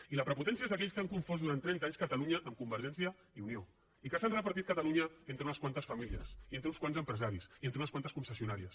i la prepotència és d’aquells que han confós durant trenta anys catalunya amb convergència i unió i que s’han repartit catalunya entre unes quantes famílies i entre uns quants empresaris i entre unes quantes concessionàries